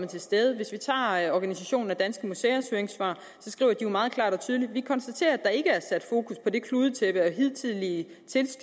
til stede hvis vi tager organisationen danske museers høringssvar skriver de jo meget klart og tydeligt vi konstaterer at der ikke er sat fokus på det kludetæppe af hidtidige